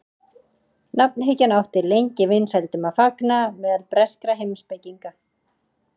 Nafnhyggjan átti lengi vinsældum að fagna meðal breskra heimspekinga.